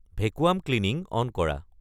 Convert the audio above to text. vacuum cleaning on কৰা